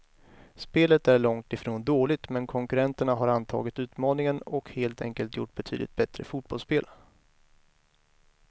Spelet är långt ifrån dåligt, men konkurrenterna har antagit utmaningen och helt enkelt gjort betydligt bättre fotbollsspel.